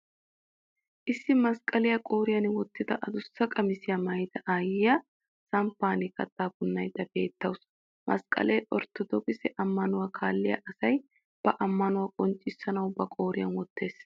Issi masqqaliya qooriyan wottada adussa qamisiya maayida aayyiya samppan kattaa punnaydda beettawusu. Masqqalee orttodookise ammanuwa kaalliya asay ba ammanuwa qonccissanawu ba qooriyan wottes.